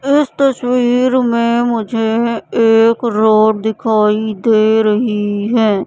इस तस्वीर में मुझे एक रोड दिखाई दे रही है।